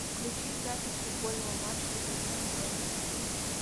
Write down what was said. включи запись футбольного матча тоттенхэм бернли